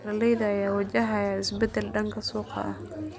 Beeraleyda ayaa wajahaya isbedel dhanka suuqa ah.